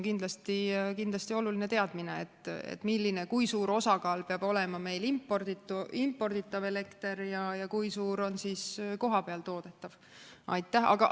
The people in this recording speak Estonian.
Kindlasti on oluline teadmine, kui suure osakaaluga peab olema meil imporditav elekter ja kui suur osa on kohapeal toodetaval.